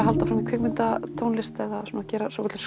halda áfram í kvikmyndatónlist eða gera svokölluð